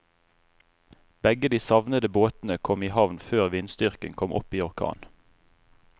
Begge de savnede båtene kom i havn før vindstyrken kom opp i orkan.